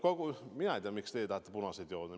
No mina ei tea, miks te tahate punaseid jooni.